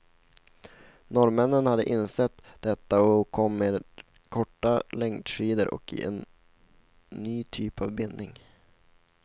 Norrmännen hade insett detta och kom med korta längdskidor och en ny typ av binding.